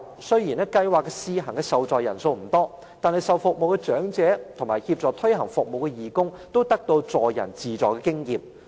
雖然計劃的試行受助人數不多，但接受服務的長者及協助推行服務的義工，都可以得到助人自助的經驗。